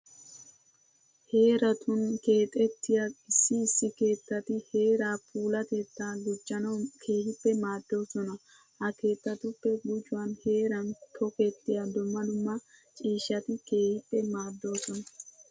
Heeratun keexettiya issi issi keettati heeraa puulatettaa gujjanawu keehippe maaddoosona. Ha keettatuppe gujuwan heeran tokettiya dumma dumma ciishshati keehippe maaddoosona.